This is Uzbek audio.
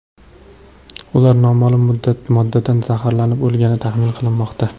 Ular noma’lum moddadan zaharlanib o‘lgani taxmin qilinmoqda.